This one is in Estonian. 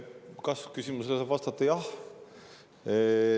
Kas-küsimusele saab vastata jah.